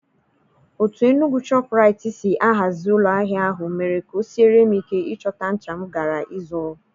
Otú Enugwu shọpụraitii si ahazi ụlọ ahịa ahụ mere ka o siere m ike ịchọta ncha m gara ịzụrụ.